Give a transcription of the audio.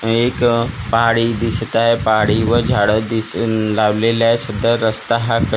एक अ पहाडी दिसत आहे पहाडीवर झाडं दिस लावलेली आहे सुद्धा रस्ता हा कच्चा--